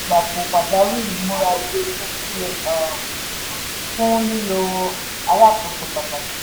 ètò olùgbapò pàjáwìrì múra ilé-iṣẹ́ sílẹ̀ um fún lílọ alákòóso pàtàkì.